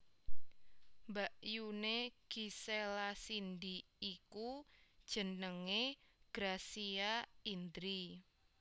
Mbakyuné Gisela Cindy iku jenengé Gracia Indri